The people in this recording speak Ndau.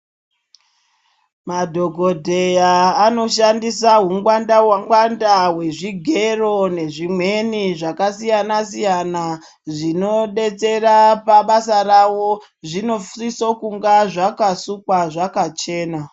Madhokodheya anoshandisa ungwanda ngwanda hwezvigero nezvimweni zvakasiyana-siyana zvinodetsera pabasa ravo zvinosise kunge zvakasukwa zvakachena.